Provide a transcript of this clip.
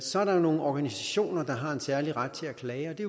så er der nogle organisationer der har en særlig ret til at klage og det